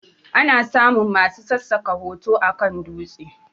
Ana samun masu sassaka hoto akan dutse